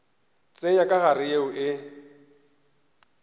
tsenya ka gare yeo e